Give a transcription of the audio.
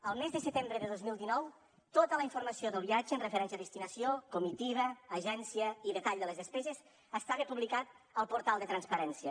el mes de setembre de dos mil dinou tota la informació del viatge en referència a destinació comitiva agència i detall de les despeses estava publicat al portal de transparència